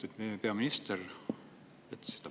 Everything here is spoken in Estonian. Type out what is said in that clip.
Lugupeetud peaminister!